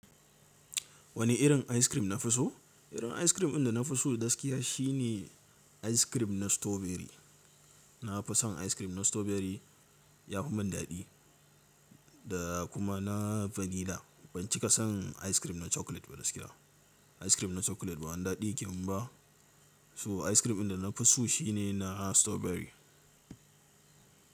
Wani irin ice cream na fi so? Irin ice cream ɗin da na fi so da gaskiya shine ice cream na strawberry. Na fi son ice cream na strawberry yafi mun daɗi da kuma na vanilla. Ban cika son ice cream na chocolate ba gaskiya. Ice cream na chocolate ba wani daɗi yake mun ba. So ice cream ɗin da na fi so shine na strawberry.